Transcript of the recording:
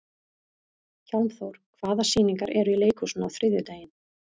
Hjálmþór, hvaða sýningar eru í leikhúsinu á þriðjudaginn?